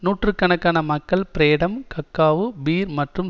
நூற்று கணக்கான மக்கள் பிரேடம் கக்காவு பீர் மற்றும்